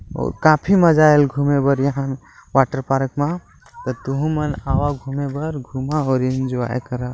अउ काफी मजा आइल घूमे बर यहाँ वाटर पारक (पार्क) मा तुहु मन आवा घूमे बर घूमा और एन्जॉय करा|